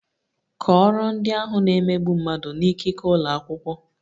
Kọọrọ ndị ahụ na - emegbu mmadụ n'ikike ụlọ akwụkwọ!